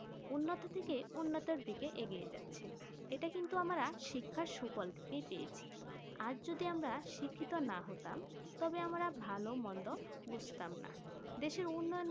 উন্নত দিকে উন্নত দিকে এগিয়ে যাচ্ছে এটা কিন্তু আমরা শিক্ষা সুফল থেকেই পেয়েছি আজ যদি আমরা শিক্ষিত না হতাম তবে আমরা ভালো মন্দ বুছতাম না দেশের উন্নয়ন